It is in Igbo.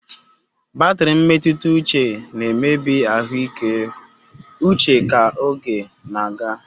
Batri mmetuta uche na-emebi ahuike uche ka oge na-aga